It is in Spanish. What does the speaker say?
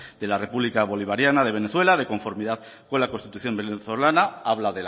de la republica bolivariana de venezuela de conformidad con la constitución venezolana habla